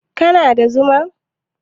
kana da Zuma?